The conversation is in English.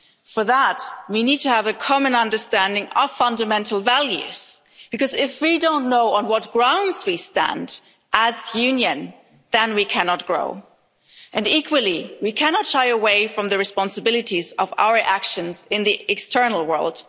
For that, we need to have a common understanding of fundamental values because if we don't know on what grounds we stand as a Union then we cannot grow. And equally, we cannot shy away from the responsibilities of our actions in the external world.